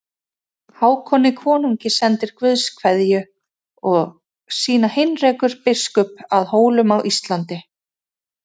Hákoni konungi sendir Guðs kveðju og sína Heinrekur biskup að Hólum á Íslandi.